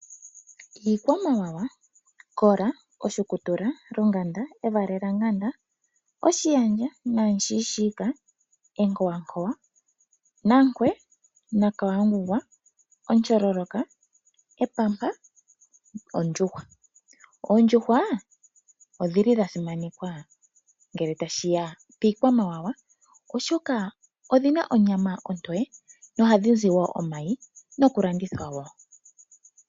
Iikwamawa Kola, oshukutula, lunganda, evalelanganda, oshiyandja, namushiishiika, enkowankowa, nankwe, nakawangugwa, etyololoka, epampa nondjuhwa. Oondjuhwa odha simanekwa ngele tashi ya piikwamawawa, oshoka odhi na onyama ontoye, nohadhi vala wo omayi nokulandithwa wo.